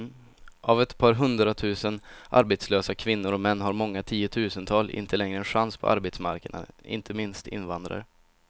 Av ett par hundratusen arbetslösa kvinnor och män har många tiotusental inte längre en chans på arbetsmarknaden, inte minst invandrare.